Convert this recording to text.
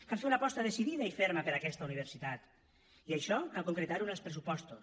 cal fer una aposta decidida i ferma per aquesta universitat i això cal concretar ho en els pressupostos